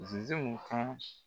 Ze ze muhasi